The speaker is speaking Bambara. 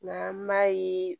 Nka an b'a ye